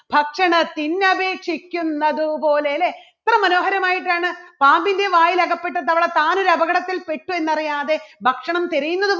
ഭക്ഷണത്തിന്നപേക്ഷിക്കുന്നത് പോലെ അല്ലേ എത്ര മനോഹരമായിട്ടാണ് പാമ്പിൻറെ വായിൽ അകപ്പെട്ട തവള താനൊരു അപകടത്തിൽ പെട്ടു എന്നറിയാതെ ഭക്ഷണം തിരയുന്നത്